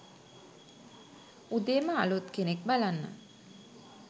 උදේම අලුත් කෙනෙක් බලන්න